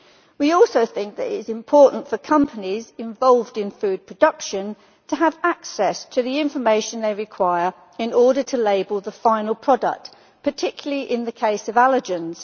We also think that it is important for companies involved in food production to have access to the information they require in order to label the final product, particularly in the case of allergens.